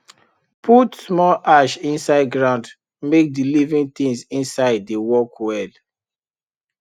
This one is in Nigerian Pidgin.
put small ash inside ground make the living things inside dey work well